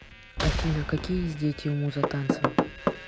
афина какие есть дети у муза танца